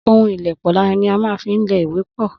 Ohun ìlèpọ̀ ní á má ń fi lè ìwé pọ́